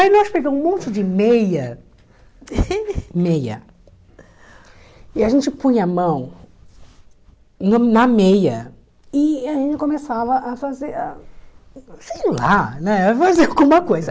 Aí nós pegamos um monte de meia, meia, e a gente punha a mão no na meia e a gente começava a fazer, sei lá, né fazer alguma coisa.